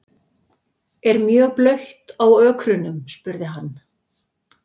Er mjög blautt á ökrunum? spurði hann.